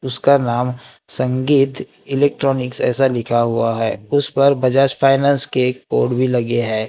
उसका नाम संगीत इलेक्ट्रॉनिक्स ऐसा लिखा हुआ है उस पर बजाज फाइनेंस के एक बोर्ड भी लगे है।